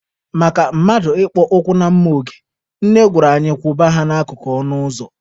Maka mmadụ ịkpọ ụkwụ na mma oge, Nne gwara anyị kwụba ha n'akụkụ ọnụ ụzọ.